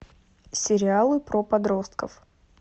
сериалы про подростков